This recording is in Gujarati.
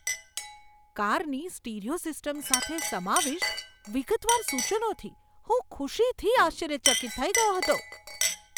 કારની સ્ટીરિયો સિસ્ટમ સાથે સમાવિષ્ટ વિગતવાર સૂચનાઓથી હું ખુશીથી આશ્ચર્યચકિત થઈ ગયો હતો.